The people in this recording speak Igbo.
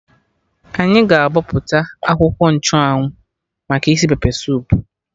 Anyị ga-abọpụta akwụkwọ nchụ anwụ maka isi pepe soup